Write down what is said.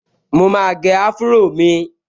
Mo máa gẹ áfúró mi